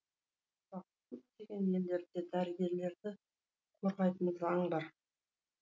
сұрақ көптеген елдерде дәрігерлерді қорғайтын заң бар